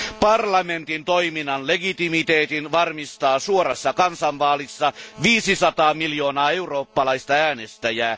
Parlamentin toiminnan legitimiteetin varmistaa suorassa kansanvaalissa 500 miljoonaa eurooppalaista äänestäjää.